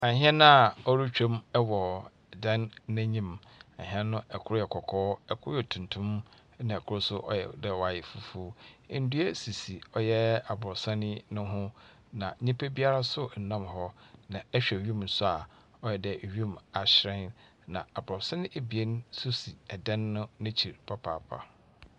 Ahɛn a ɔretwam ɛwɔ dan n'enyim. Ahɛn no ɛkor yɛ kɔkɔɔ, ɛkor yɛ tuntum, na ɛkor so ɔyɛdɛ wayɛ fufuw. Ndua sisi ɔyɛ abrosan yi no ho, na nipa biara so ɛnnam hɔ. Na ɛhwɛ ewim so a ɔyɛdɛ ewim ahyerɛn. Na abrosan ebien so si ɛdan n'ekyir papaapa.